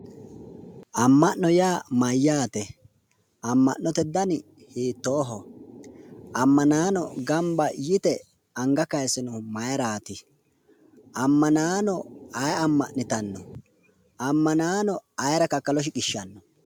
Amma'note yaa mayyaate? Amma'note dani hiittooho ammanaano gamba yite anga kayiise noohu mayiraati? Ammanaano ayee amma'nitanno ammanaano ayeera kakalo shiqishshanno?